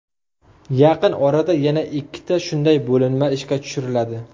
Yaqin orada yana ikkita shunday bo‘linma ishga tushiriladi.